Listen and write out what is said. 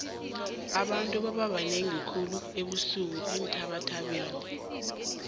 abantu bababanengi khulu ebusuku eenthabathabeni